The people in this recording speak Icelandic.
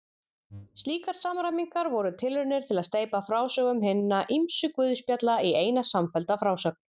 Slíkar samræmingar voru tilraunir til að steypa frásögum hinna ýmsu guðspjalla í eina samfellda frásögn.